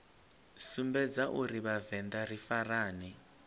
sumbedza uri vhavenḓa ri farane